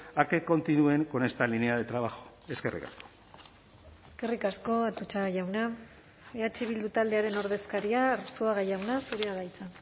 a que continúen con esta línea de trabajo eskerrik asko eskerrik asko atutxa jauna eh bildu taldearen ordezkaria arzuaga jauna zurea da hitza